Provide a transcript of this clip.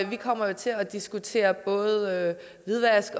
vi kommer jo til at diskutere både hvidvask